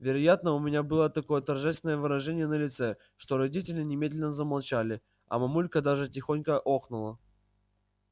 вероятно у меня было такое торжественное выражение на лице что родители немедленно замолчали а мамулька даже тихонько охнула